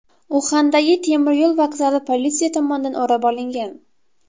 Uxandagi temiryo‘l vokzali politsiya tomonidan o‘rab olingan.